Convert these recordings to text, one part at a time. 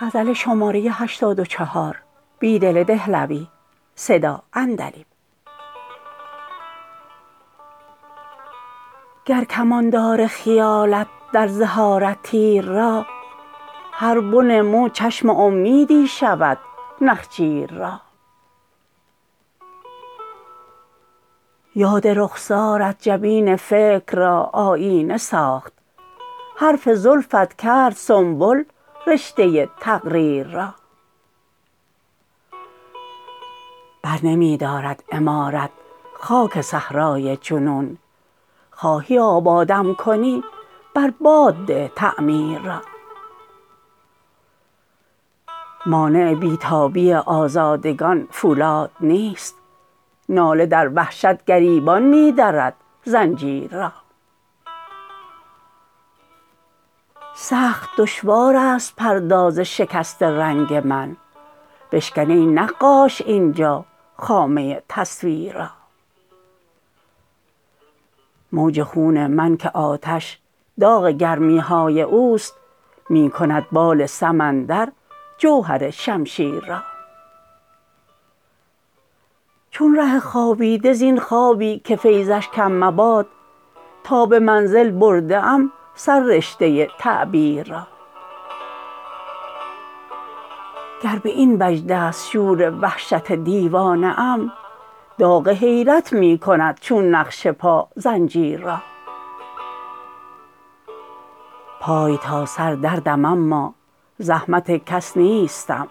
گر کمان دار خیالت در زه آرد تیر را هر بن مو چشم امیدی شود نخجیر را یاد رخسارت جبین فکر را آیینه ساخت حرف زلفت کرد سنبل رشته تقریر را برنمی دارد عمارت خاک صحرای جنون خواهی آبادم کنی بر باد ده تعمیر را مانع بی تابی آزادگان فولاد نیست ناله در وحشت گریبان می درد زنجیر را سخت دشوارست پرداز شکست رنگ من بشکن ای نقاش اینجا خامه تصویر را موج خون من که آتش داغ گرمی های اوست می کند بال سمندر جوهر شمشیر را چون ره خوابیده زین خوابی که فیضش کم مباد تا به منزل برده ام سررشته تعبیر را گر به این وجدست شور وحشت دیوانه ام داغ حیرت می کند چون نقش پا زنجیر را پای تا سر دردم اما زحمت کس نیستم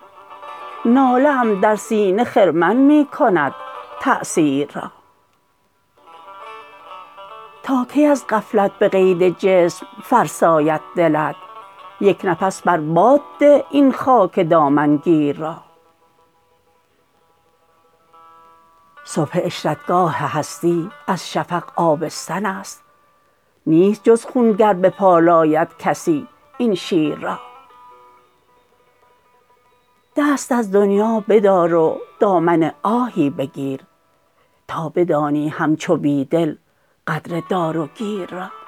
ناله ام در سینه خرمن می کند تأثیر را تا کی از غفلت به قید جسم فرساید دلت یک نفس بر باد ده این خاک دامن گیر را صبح عشرتگاه هستی از شفق آبستن است نیست جز خون گر بپالاید کسی این شیر را دست از دنیا بدار و دامن آهی بگیر تا بدانی همچو بیدل قدر دار و گیر را